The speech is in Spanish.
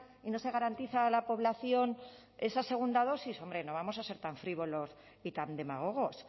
y no se garantiza a la población esa segunda dosis hombre no vamos a ser tan frívolos y tan demagogos